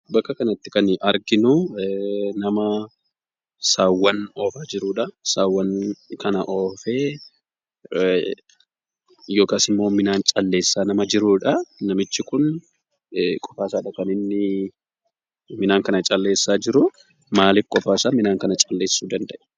Bakka kanatti kan arginu nama saawwan oofaa jirudha. Saawwan kan oofee yookaas ammoo midhaan calleessaa kan jirudha. Namichi kun qofaadha midhaan kana calleessaa kan jiru. Maaliif qophaasaa midhaan kana calleessu danda'e?